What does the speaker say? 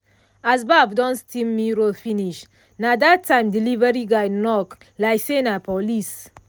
as baff don steam mirror finish na that time delivery guy knock like say na police.